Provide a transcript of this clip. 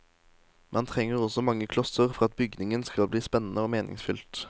Man trenger også mange klosser for at byggingen skal bli spennende og meningsfylt.